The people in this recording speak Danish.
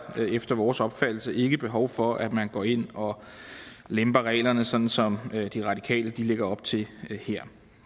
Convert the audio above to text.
efter vores opfattelse ikke behov for at man går ind og lemper reglerne sådan som de radikale lægger op til her